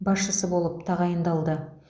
басшысы болып тағайындалды